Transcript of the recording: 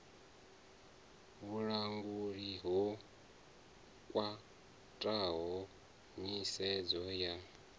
vhulanguli ho khwathaho nyisedzo ya